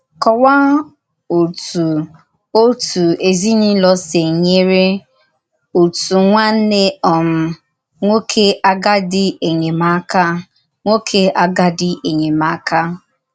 Kọwàá òtú òtù èzìnùlọ̀ sī nyèrè òtù nwànnè um nwòké àgádì enyémákà. nwòké àgádì enyémákà.